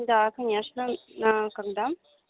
да конечно на когда